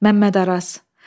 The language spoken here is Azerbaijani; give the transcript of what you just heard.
Məmməd Araz.